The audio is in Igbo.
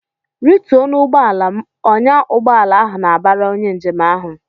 "Rituo n'ụgbọala m!" Ọnyá ugbọala ahụ na-abara onye njem ahụ.